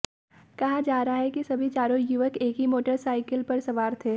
कहा जा रहा है कि सभी चारों युवक एक ही मोटरसाइकिल पर सवार थे